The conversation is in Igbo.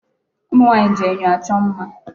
Ụmụ nwaanyị ji enyo achọ mma.